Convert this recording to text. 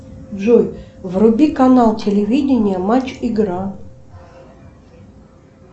джой вруби канал телевидения матч игра